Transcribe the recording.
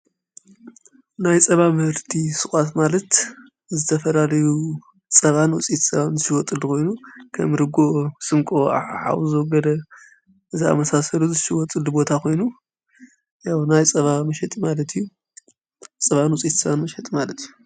ናይ ፀባ ምህርቲ ስቋት ማለት ዝተፈላለዩ ፀባንዉፂኢት ፀባን ዝሽወጥሉ ኾይኑ ከም ርጎኦ ስምቆ ዓውሶ ዘወገደ ዝኣመሳሰሩ ዝሽወፅሉ ቦታ ኾይኑ ያ ናይ ጸሽጥማለት እዩ ፀባን ውፂኢትፀባን ዘሽወጥ ማለት እዩ።